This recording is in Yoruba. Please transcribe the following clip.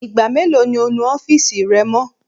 Igba melo ni o nu ọfiisi rẹ mọ?